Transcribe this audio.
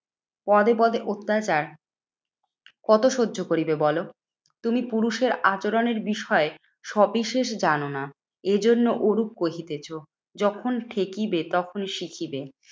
পদে পদে অত্যাচার। কত সহ্য করিবে বলো? তুমি পুরুষের আচরণের বিষয় সবিশেষ জানোনা। এ জন্য ওরূপ কহিতেছ। যখন ঠেকিবে তখনই শিখিবে।